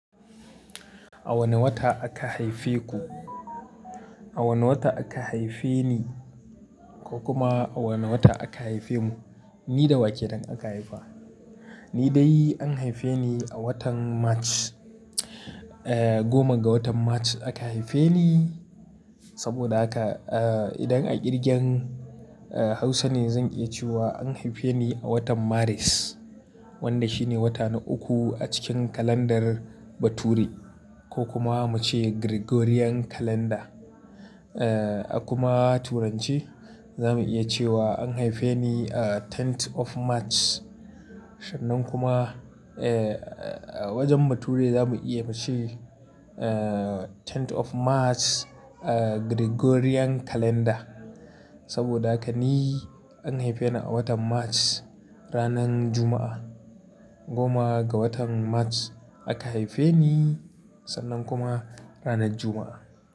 A wane wata aka haife ku? A wane wata aka haife ni ko kuma a wane wata aka haife mu? Ni da wa kenan aka haifa. Ni dai an haife ni a watan March. Eh, goma ga watan March aka haife ni. Saboda haka, eh, idan a ƙirgen Hausa ne zan iya cewa an haife ni a watan Maris wanda shine wata na uku a cikin calendar bature ko kuma mu ce Gregorian calendar. Eh, a kuma Turance, za mu iya cewa an haife ni a tenth of March. Sannan kuma, eh, a wajen bature za mu iya mu ce, eh, tenth of March, eh, Gregorian calendar. Sabida haka ni an haife ni a watan March ranar Juma'a. Goma ga watan March aka haife ni, sannan kuma ranar Juma'a.